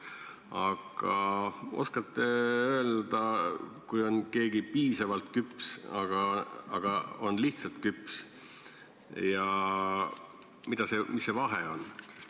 Aga oskate te öelda, et kui keegi on piisavalt küps ja teine on lihtsalt küps, siis mis vahe seal on?